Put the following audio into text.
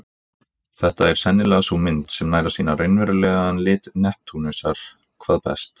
Þetta er sennilega sú mynd sem nær að sýna raunverulegan lit Neptúnusar hvað best.